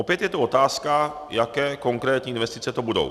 Opět je tu otázka, jaké konkrétní investice to budou.